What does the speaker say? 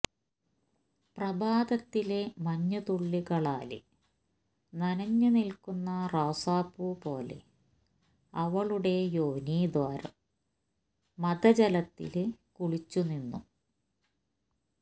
പ്രഭാതത്തിലെ മഞ്ഞുതുള്ളികളാല് നനഞ്ഞു നില്ക്കുയന്ന റോസാപ്പൂ പോലെ അവളുടെ യോനി ദ്വോരം മദജലത്തില് കുളിച്ചു നിന്നു